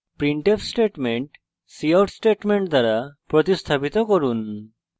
printf statement cout statement দ্বারা প্রতিস্থাপিত করুন